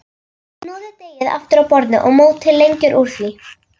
Hnoðið deigið aftur á borði og mótið lengjur úr því.